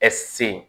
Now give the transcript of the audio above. Ɛ se